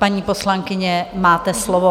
Paní poslankyně, máte slovo.